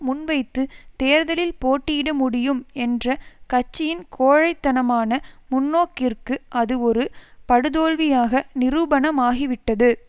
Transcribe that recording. முன்வைத்து தேர்தலில் போட்டியிட முடியும் என்ற கட்சியின் கோழை தனமான முன்னோக்கிற்கு அது ஒரு படுதோல்வியாக நிரூபணமாகிவிட்டது